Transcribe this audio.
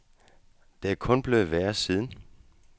Og det er kun blevet værre siden.